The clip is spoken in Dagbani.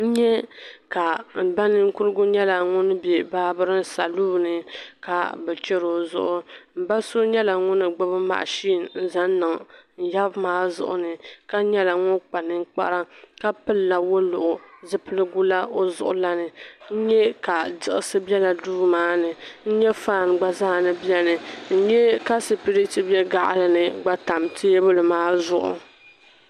N-nyɛ ka mba ninkurigu nyɛla ŋun be babering saloon ni ka bi cheri o zuɣu. Mba so nyɛla ŋun gbibi machine n-yab' maa zuɣu ni ka nyɛla ŋun kpa ninkpara ka pilila woluɣu zupilgu la o zuɣu la ni. N-nyɛ ka diɣisi be la duu maa ni. N-nyɛ fan gba zaa ni bieni, n-nyɛ ka sipiriti be gaɣili ni gba tam tabili maa zuɣu.